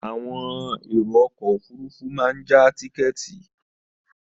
Àwọn èrò ọkọ òfúrufú máa já tíkẹ́ētì.